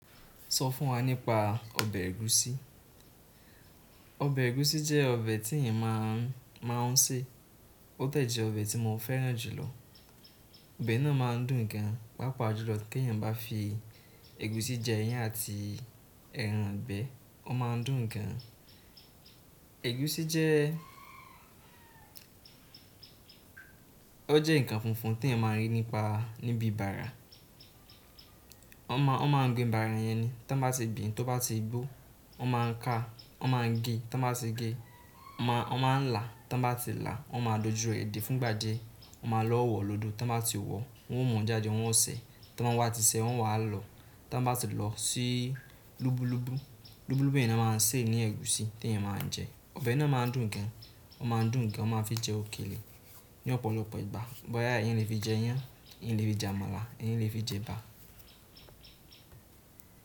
Sọ fún wa nípa ọbẹ̀ ẹ̀gúsí. Ọbẹ̀ ẹ̀gúsí jẹ́ ọbẹ̀ tí èèyàn máa ń sè. Ó de jẹ́ ọbẹ̀ tí mo fẹ́ràn jù lọ. Ọbẹ̀ náà má a ń dùn gan, pàápàá jùlọ kí èèyàn bá fi ẹ̀gúsí jẹ iyán àti ẹran igbẹ̀ e, ó má a ń dùn gan. Ẹ̀gúsí jẹ́-- ó jẹ́ nǹkan funfun tí èèyàn máa ń rí níbi bàrà. Ọ máa ń gbin bàrà yẹn ni. Tán bá ti gbìn, tó bá ti gbó, ọ má ń ká, ọ má ń gé. Tán bá ti gé, ọ má ń là. Tán bá ti là, ọ má ń dojú ẹ dẹ̀ fún ìgbà díẹ̀, ọ má lọ wọ̀ lódò. Tán bá ti wọ̀, wọn ó mọ̀ jáde wọn ó ṣẹ̀. Tán wọn wá ti ṣẹ̀, wọn wà lọ. Tán bá ti lọ síi lubulubu. Lubulubu yen ni wọ́n má a ń sè ní ẹ̀gúsí tí èèyàn máa ń jẹ. Ọbẹ̀ náà má a ń dùn gan, ó má ń dùn gan, ó má ń fi jẹ òkèlè ní ọ̀pọ̀lọpọ̀ ìgbà. Boya èèyàn le fii jẹ iyán, èèyàn le fii jẹ àmàlà, èèyàn le fii jeba.